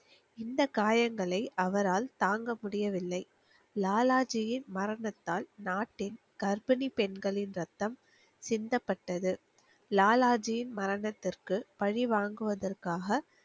இந்த காயங்களை அவரால் தாங்க முடியவில்லை லாலாஜியின் மரணத்தால் நாட்டின் கர்ப்பிணி பெண்களின் ரத்தம் சிந்தப்பட்டது லாலாஜியின் மரணத்திற்கு பழி வாங்குவதற்காக